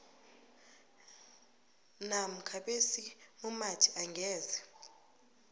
namkha besimumathi angeze